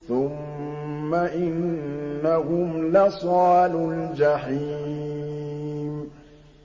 ثُمَّ إِنَّهُمْ لَصَالُو الْجَحِيمِ